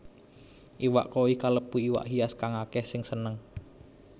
Iwak koi kalebu iwak hias kang akèh sing seneng